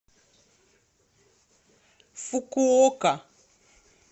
фукуока